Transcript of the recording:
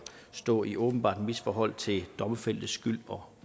stå i et åbenbart misforhold til domfældtes skyld og